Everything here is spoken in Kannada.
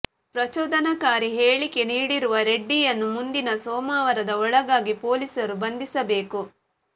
ಪ್ರಚೋದನಕಾರಿ ಹೇಳಿಕೆ ನೀಡಿರುವ ರೆಡ್ಡಿಯನ್ನು ಮುಂದಿನ ಸೋಮವಾರದ ಒಳಗಾಗಿ ಪೊಲೀಸರು ಬಂಧಿಸಬೇಕು